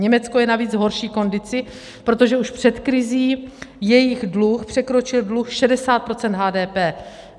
Německo je navíc v horší kondici, protože už před krizí jejich dluh překročil dluh 60 % HDP.